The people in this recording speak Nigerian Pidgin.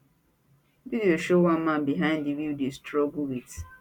video show one man behind di wheel dey struggle wit